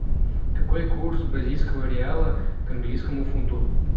какой курс бразильского реала к английскому фунту